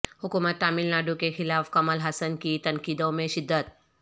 حکومت ٹاملناڈو کے خلاف کمل ہاسن کی تنقیدوں میں شدت